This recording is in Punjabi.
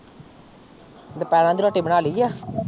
ਦੁਪਹਿਰ ਦੀ ਰੋਟੀ ਬਣਾ ਲਈ ਆ।